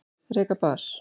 Reka bar